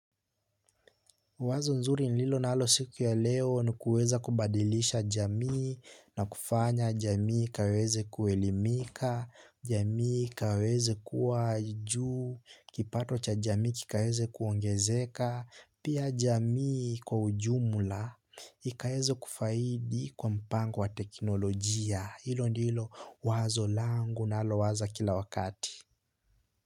Wazo nzuri nililo nalo siku ya leo ni kuweza kubadilisha jamii na kufanya jamii ikaweze kuelimika jamii ikaweze kuwa juu kipato cha jamii kikaweze kuongezeka pia jamii kwa ujumla ikaweze kufaidi kwa mpango wa teknolojia. Hilo ndilo wazo langu nalo waza kila wakati.